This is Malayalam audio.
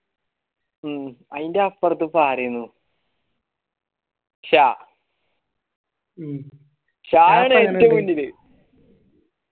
ഉം അയിൻറപ്പർത്തു അരയിനു ഷാ ഷാ യാണ് ഏറ്റവും വലുത്